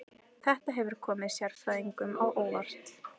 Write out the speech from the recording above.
Þetta hefur komið sérfræðingum á óvart